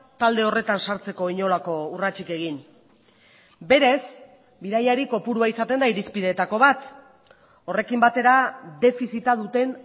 talde horretan sartzeko inolako urratsik egin berez bidaiari kopurua izaten da irizpidetako bat horrekin batera defizita duten